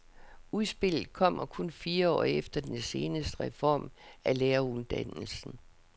Udspillet kommer kun fire år efter den seneste reform af læreruddannelsen.